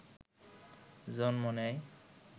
জন্ম নেয়